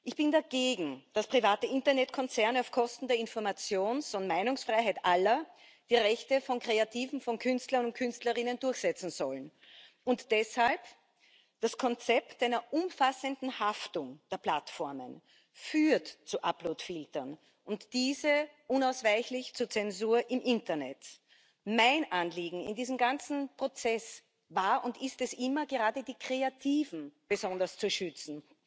Ich bin dagegen, dass private Internetkonzerne auf Kosten der Informations und Meinungsfreiheit aller die Rechte von Kreativen, von Künstlern und Künstlerinnen durchsetzen sollen. Und deshalb Das Konzept einer umfassenden Haftung der Plattformen führt zu Uploadfiltern und diese unausweichlich zur Zensur im Internet. Mein Anliegen in diesem ganzen Prozess war und ist es immer, gerade die Kreativen besonders zu schützen.